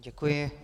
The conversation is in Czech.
Děkuji.